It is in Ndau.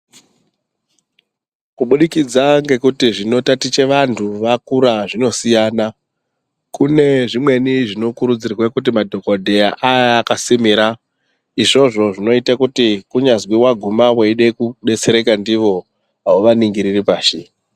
Kubudikidza ngekuti zvinotaticha vantu vakura zvinosiyana kune zvimweni zvinokurudzirwa kuti madhokodheya aye akasimira izvozvo zvinoita kuti kunyazi waguma uchida kudetsereka ndiwo auvaningiriri pashi.